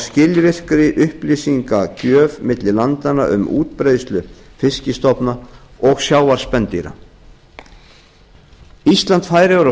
skilvirkari upplýsingagjöf milli landanna um útbreiðslu fiskstofna og sjávarspendýra ísland færeyjar og